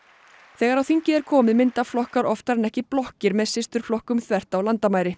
þegar á þingið er komið mynda flokkar oftar en ekki blokkir með systurflokkum þvert á landamæri